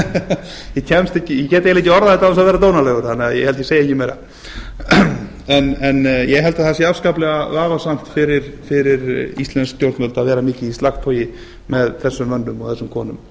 ég get eiginlega orðað þetta án þess að vera dónalegur þannig að ég held að ég segi ekki meira en ég held að það sé afskaplega vafasamt fyrir íslensk stjórnvöld að vera mikið í slagtogi með þessum mönnum og þessum konum